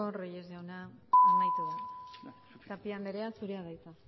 reyes jauna amaitu da tapia anderea zurea da hitza